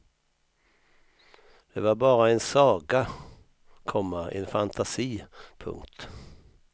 Det var bara en saga, komma en fantasi. punkt